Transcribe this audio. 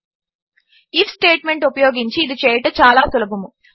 if statement ఉపయోగించి ఇది చేయుట చాలా సులభము